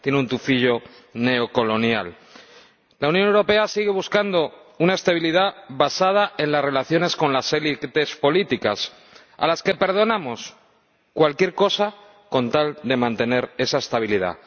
Tiene un tufillo neocolonial. La Unión Europea sigue buscando una estabilidad basada en las relaciones con las élites políticas, a las que perdonamos cualquier cosa con tal de mantener esa estabilidad.